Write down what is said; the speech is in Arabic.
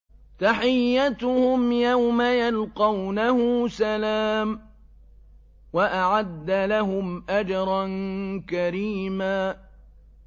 تَحِيَّتُهُمْ يَوْمَ يَلْقَوْنَهُ سَلَامٌ ۚ وَأَعَدَّ لَهُمْ أَجْرًا كَرِيمًا